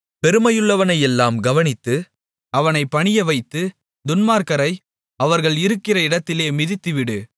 பெருமையுள்ளவனையெல்லாம் கவனித்து அவனைப் பணியவைத்து துன்மார்க்கரை அவர்கள் இருக்கிற இடத்திலே மிதித்துவிடு